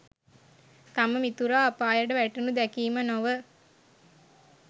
තම මිතුරා අපායට වැටෙනු දැකීම නොව